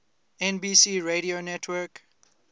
nbc radio network